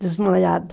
Desmaiada.